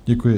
Děkuji.